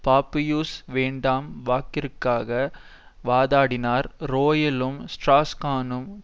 பாபியுஸ் வேண்டாம் வாக்கிற்காக வாதாடினார் ரோயலும் ஸ்ட்ராஸ்கானும்